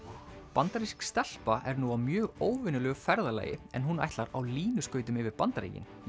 bandarísk stelpa er nú á mjög óvenjulegu ferðalagi en hún ætlar á línuskautum yfir Bandaríkin